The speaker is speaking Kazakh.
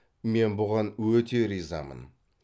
мен бұған өте ризамын